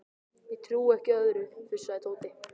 Ég trúi ekki öðru, fussaði Tóti.